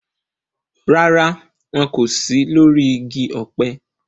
Rárá, wọn kò sí lórí igi ọ̀pẹ